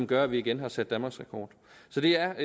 gør at vi igen har sat danmarksrekord så det er